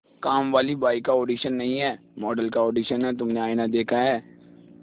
कामवाली बाई का ऑडिशन नहीं है मॉडल का ऑडिशन है तुमने आईना देखा है